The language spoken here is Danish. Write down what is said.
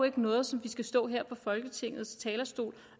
ikke noget som vi skal stå her på folketingets talerstol